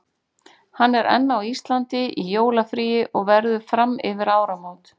Hann er enn á Íslandi í jólafríi og verður fram yfir áramót.